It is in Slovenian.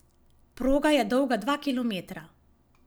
Proga je dolga dva kilometra.